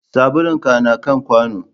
Sabulun ka na kan kwano